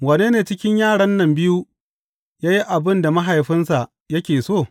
Wanne cikin yaran nan biyu ya yi abin da mahaifinsa yake so?